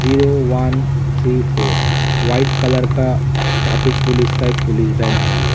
Zero one three four white colour का traffic police का एक पुलिस वैन है ये ।